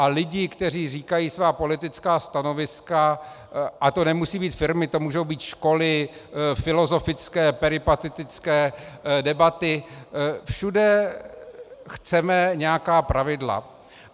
A lidi, kteří říkají svá politická stanoviska, a to nemusí být firmy, to mohou být školy, filozofické, peripatetické debaty, všude chceme nějaká pravidla.